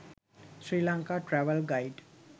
sri lanka travel guide